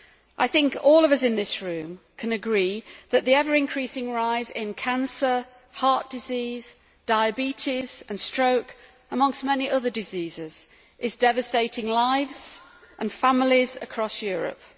I think that all of us in this House can agree that the ever increasing rise in cancer, heart disease, diabetes and stroke, amongst many other diseases, is devastating lives and families across Europe.